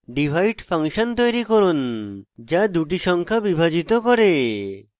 divide function তৈরী করুন যা দুটি সংখ্যা বিভাজিত করে